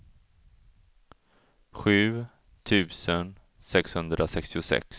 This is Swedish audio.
sju tusen sexhundrasextiosex